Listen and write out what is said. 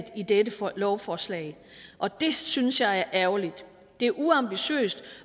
i dette lovforslag og det synes jeg er ærgerligt det er uambitiøst